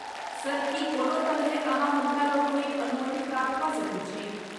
Sir, की कोनो तरहें अहाँ हुनकालोकनिक अनुमति प्राप्त कऽ सकैत छी?